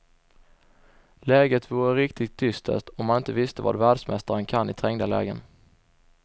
Läget vore riktigt dystert om man inte visste vad världsmästaren kan i trängda lägen.